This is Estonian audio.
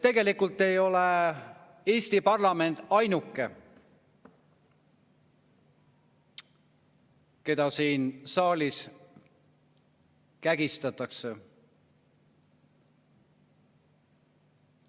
Tegelikult ei ole Eesti parlament ainuke, keda siin saalis kägistatakse.